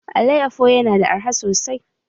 Alayyafo yana da arha sosai.